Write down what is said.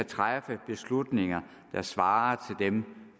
træffe beslutninger der svarer til dem